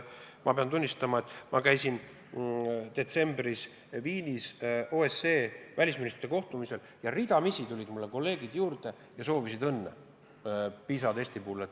Ma pean tunnistama, et kui ma käisin detsembris Viinis OSCE välisministrite kohtumisel, siis ridamisi astusid kolleegid minu juurde ja soovisid õnne PISA testi tulemuste puhul.